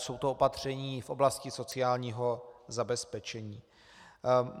Jsou to opatření v oblasti sociálního zabezpečení.